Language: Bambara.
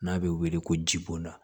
N'a bɛ wele ko jibo